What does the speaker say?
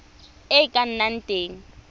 e e ka nnang teng